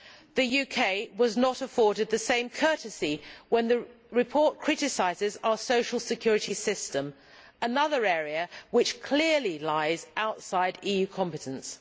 The UK was not afforded the same courtesy when the report criticised our social security system, another area which clearly lies outside EU competence.